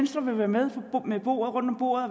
sådan noget